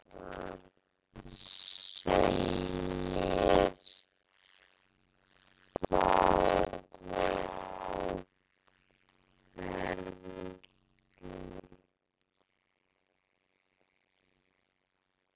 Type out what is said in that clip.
Lögreglan segir fáa á ferli